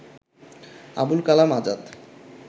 Abul Kalam Azad